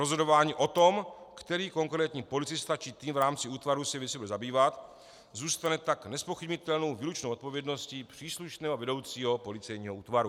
Rozhodování o tom, který konkrétní policista či tým v rámci útvaru se věcí bude zabývat, zůstane tak nezpochybnitelnou výlučnou odpovědností příslušného vedoucího policejního útvaru.